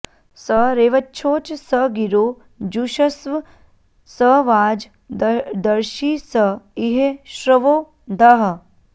स रे॒वच्छो॑च॒ स गिरो॑ जुषस्व॒ स वाजं॑ दर्षि॒ स इ॒ह श्रवो॑ धाः